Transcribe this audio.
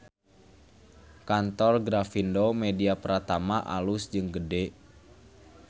Kantor Grafindo Media Pratama alus jeung gede